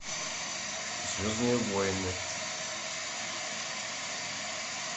звездные войны